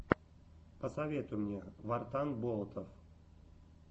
посоветуй мне вартан болотов